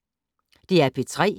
DR P3